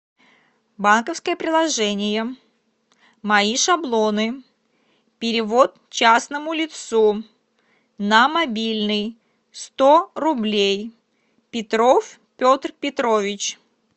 банковское приложение мои шаблоны перевод частному лицу на мобильный сто рублей петров петр петрович